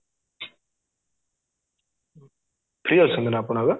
free ଅଛନ୍ତି ନା ଆପଣ ଏବେ